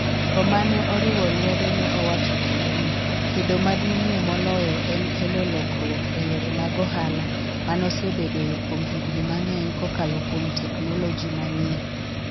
Jogo ma ne oriwo lwedo ne owacho kendo ni, kedo maduong'ie moloyo en kelo lokruok e yore mag ohala ma nosebedoe kuom higini mang'eny kokalo kuom teknoloji manyien.